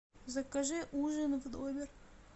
закажи ужин в номер